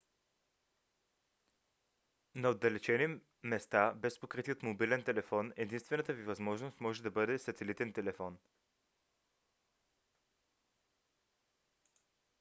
на отдалечени места без покритие от мобилен телефон единствената ви възможност може да бъде сателитен телефон